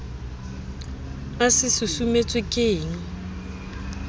a se susumetswe ke ekng